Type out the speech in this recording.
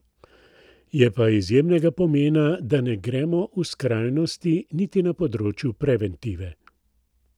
Je pa izjemnega pomena, da ne gremo v skrajnosti niti na področju preventive.